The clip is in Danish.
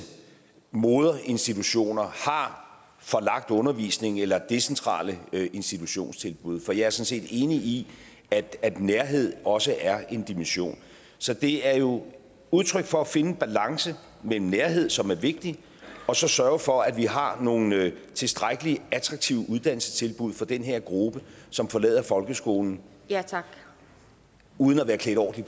moderinstitutioner har forlagt undervisningen eller har decentrale institutionstilbud for jeg er sådan set enig i at nærhed også er en dimension så det er jo udtryk for at finde en balance mellem nærhed som er vigtig og så sørge for at vi har nogle tilstrækkelig attraktive uddannelsestilbud for den her gruppe som forlader folkeskolen uden at være klædt ordentlig